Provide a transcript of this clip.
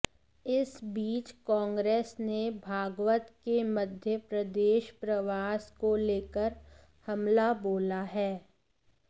इस बीच कांग्रेस ने भागवत के मध्य प्रदेश प्रवास को लेकर हमला बोला है